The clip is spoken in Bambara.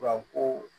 Wa ko